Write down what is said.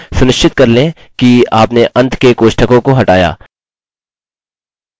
अतः यदि मैं पासवर्ड या रिपीट पासवर्ड नहीं चुनता हूँ हमें हमारी एरर मिलती है